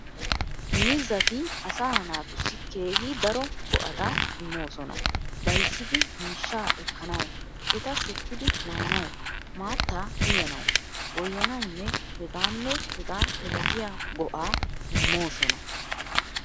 Miizzati asaa naatussi keehi daro go''ata immoosona. Bayzidi miishshaa ekkanawu, eta shukkidi maanawu, maattaa uyananawu, goyanawunne hegaanne hegaa milatiya go"aa immoosona.